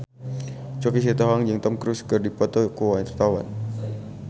Choky Sitohang jeung Tom Cruise keur dipoto ku wartawan